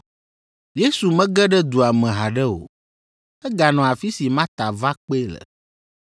Yesu mege ɖe dua me haɖe o, eganɔ afi si Marta va kpee le.